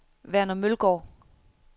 Verner Mølgaard